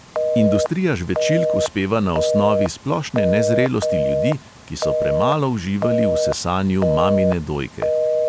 Industrija žvečilk uspeva na osnovi splošne nezrelosti ljudi, ki so premalo uživali v sesanju mamine dojke!